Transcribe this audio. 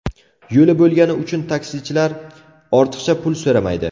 Yo‘li bo‘lgani uchun taksichilar ortiqcha pul so‘ramaydi.